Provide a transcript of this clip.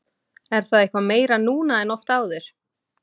Er það eitthvað meira núna en oft áður?